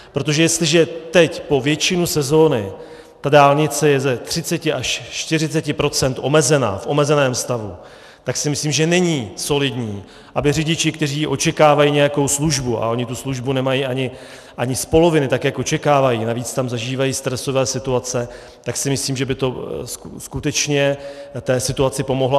Protože jestliže teď po většinu sezony ta dálnice je ze 30 až 40 % omezena, v omezeném stavu, tak si myslím, že není solidní, aby řidiči, kteří očekávají nějakou službu, a oni tu službu nemají ani z poloviny, tak jak očekávají, navíc tam zažívají stresové situace, tak si myslím, že by to skutečně té situaci pomohlo.